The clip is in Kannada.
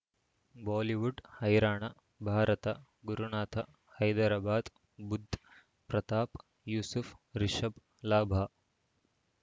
ಬಾಲಿವುಡ್ ಹೈರಾಣ ಭಾರತ ಗುರುನಾಥ ಹೈದರಾಬಾದ್ ಬುಧ್ ಪ್ರತಾಪ್ ಯೂಸುಫ್ ರಿಷಬ್ ಲಾಭ